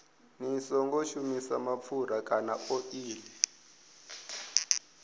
songo shumisa mapfura kana oḽi